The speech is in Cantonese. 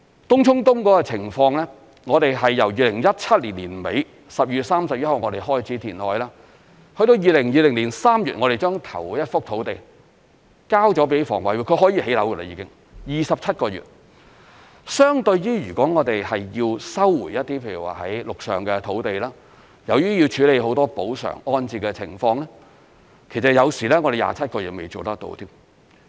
東涌東填海工程的情況，我們由2017年12月31日開始填海，至2020年3月我們把第一幅土地交予香港房屋委員會，便是可建屋的土地，只需27個月，相對如要收回比如說陸上的土地，由於要處理很多補償安置的情況，有時27個月都未能完成。